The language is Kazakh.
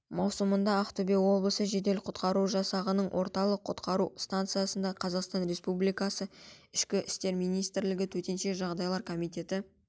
маусымда ақтөбе облысы жедел-құтқару жасағының орталық құтқару станциясында қазақстан республикасы ішкі істер министрлігі төтенше жағдайлар комитеті